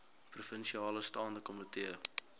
provinsiale staande komitee